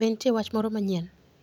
Be nitie wach moro manyien?